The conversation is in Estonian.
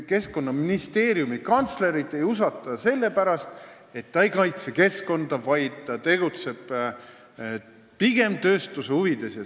Keskkonnaministeeriumi kantslerit ei usaldata sellepärast, et ta ei kaitse keskkonda, vaid tegutseb pigem tööstuse huvides.